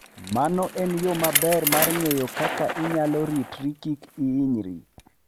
Mano en yo maber mar ng'eyo kaka inyalo ritri kik hinyri.